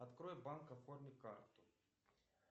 открой банк оформи карту